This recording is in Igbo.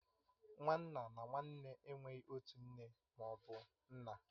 Nwa nna na nwa nne enweghị otu nne ma ọ bụ nna